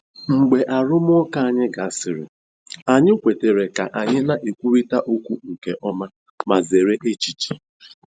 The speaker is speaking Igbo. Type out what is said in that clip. Mgbe arụmụka anyị gasịrị, anyị kwetara ka anyị na-ekwurịta okwu nke ọma ma zere echiche.